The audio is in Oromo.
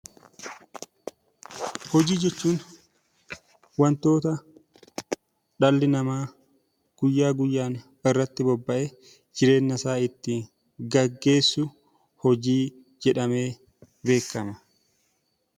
Hojii jechuun wantoota dhalli namaa guyyaa guyyaan irratti bobba'ee jireenya isaa ittiin geggeessu 'Hojii' jedhamee beekama.